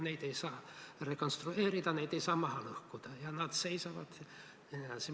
Neid ei saa rekonstrueerida, neid ei saa maha lõhkuda ja nad seisavad.